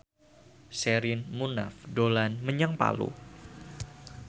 Sherina Munaf dolan menyang Palu